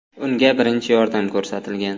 Unga birinchi yordam ko‘rsatilgan.